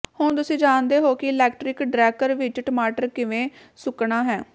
ਹੁਣ ਤੁਸੀਂ ਜਾਣਦੇ ਹੋ ਕਿ ਇਲੈਕਟ੍ਰਿਕ ਡ੍ਰੈਕਰ ਵਿਚ ਟਮਾਟਰ ਕਿਵੇਂ ਸੁੱਕਣਾ ਹੈ